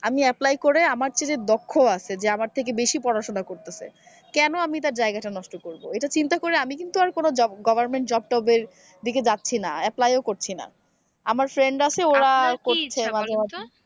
আমি apply করে আমার চেয়ে যে দক্ষ আছে যে আমার থেকে বেশি পড়াশোনা করতেছে কেন আমি তার জায়গাটা নষ্ট করব এটা চিন্তা করে আমি কিন্তু আর কোন job government job এর দিকে যাচ্ছি না apply করছি না আমার friend আছে ওরা করছে মাঝে মাঝে।